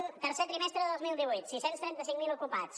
miri tercer trimestre de dos mil divuit sis cents i trenta cinc mil ocupats